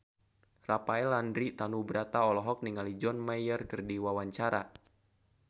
Rafael Landry Tanubrata olohok ningali John Mayer keur diwawancara